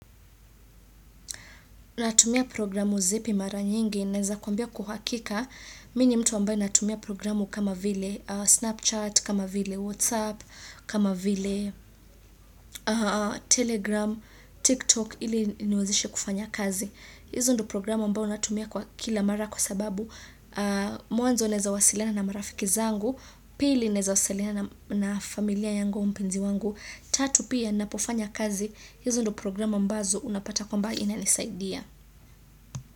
Natumia programu zipi mara nyingi, naweza kuambia kw uhakika, mimi ni mtu ambaye natumia programu kama vile, Snapchat, kama vile, Whatsapp, kama vile, Telegram, TikTok, ili ziniwezishe kufanya kazi. Hizo ndo programu ambao natumia kwa kila mara kwa sababu, mwanzo naweza wasiliana na marafiki zangu, pili naweza wasiliana na familia yangu na mpenzi wangu, tatu pia napofanya kazi, hizo ndo programu ambazo unapata kwamba inanisaidia.